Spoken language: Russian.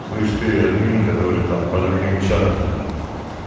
слышь ты админ который там по другим чатам блин